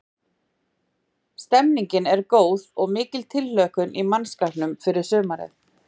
Stemmningin er góð og mikil tilhlökkun í mannskapnum fyrir sumarið.